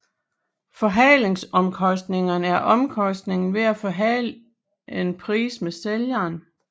Forhandlingsomkostningerne er omkostningen ved at forhandle en pris med sælgeren